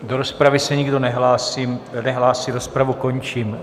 Do rozpravy se nikdo nehlásí, rozpravu končím.